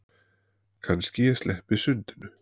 Kannski ég sleppi sundinu.